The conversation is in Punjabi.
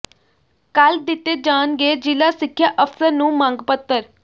ਕੱਲ੍ਹ ਦਿੱਤੇ ਜਾਣਗੇ ਜ਼ਿਲ੍ਹਾ ਸਿੱਖਿਆ ਅਫ਼ਸਰ ਨੂੰ ਮੰਗ ਪੱਤਰ